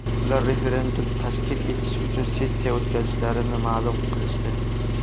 Ular referendum tashkil etish uchun sessiya o‘tkazishlarini ma’lum qilishdi”.